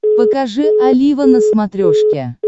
покажи олива на смотрешке